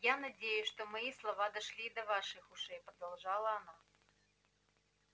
я надеюсь что мои слова дошли и до ваших ушей продолжала она